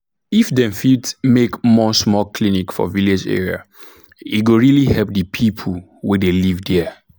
if dem fit make more small clinic for village area e go really help the people wey dey live there